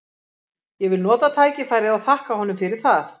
Ég vil nota tækifærið og þakka honum fyrir það.